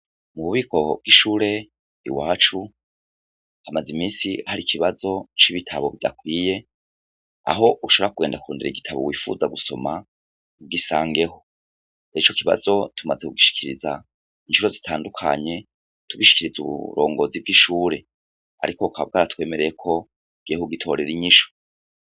Mububiko bw' ishure iwacu hamaze imisi hari ikibazo c' ibitabo bidakwiye aho ushobora kugenda kurondera igitabo wipfuza gusoma ntugisangeho nico kibazo tumaze kugishikiriza incuro zitandukanye tugishikiriza uburongozi bw' ishure ariko bukaba bwatwemereye ko bugiye kugitorera inyishu.